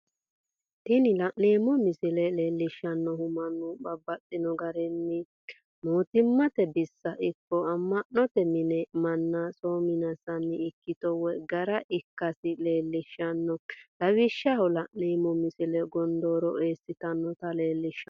Tini la'neemo misile leellishanohu mannu babaxxino garinni mootumatte bissa ikko ama'note mine mana soominsanni ikkito woyi gara ikkasi leelliishano lawishaho la'neemo misile gondooro eesinanitta leellishano